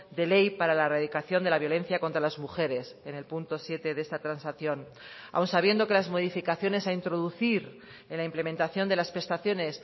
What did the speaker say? de ley para la erradicación de la violencia contra las mujeres en el punto siete de esta transacción aun sabiendo que las modificaciones a introducir en la implementación de las prestaciones